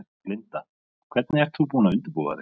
Linda: Hvernig ert þú búin að undirbúa þig?